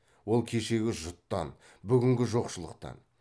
ол кешегі жұттан бүгінгі жоқшылықтан